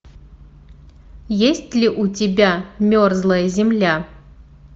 есть ли у тебя мерзлая земля